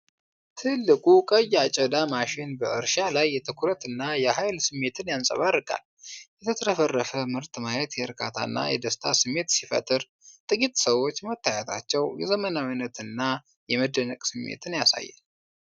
ትልቁ ቀይ አጨዳ ማሽን በእርሻ ላይ የትኩረትና የኃይል ስሜትን ያንጸባርቃል። የተትረፈረፈ ምርት ማየት የእርካታና የደስታ ስሜት ሲፈጥር፣ ጥቂት ሰዎች መታየታቸው የዘመናዊነትና የመደነቅ ስሜትን ያሳያል።